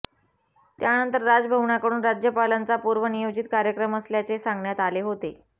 त्यानंतर राजभवनाकडून राज्यपालांचा पूर्वनियोजित कार्यक्रम असल्याचे सांगण्यात आले होते